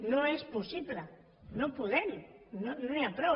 no és possible no podem no n’hi ha prou